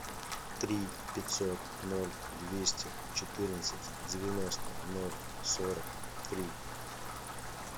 три пятьсот ноль двести четырнадцать девяносто ноль сорок три